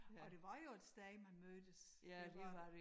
Og det var jo et sted man mødtes det var